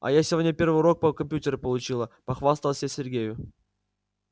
а я сегодня первый урок по компьютеру получила похвасталась я сергею